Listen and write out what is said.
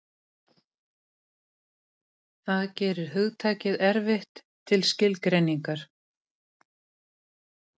Það gerir hugtakið erfitt til skilgreiningar.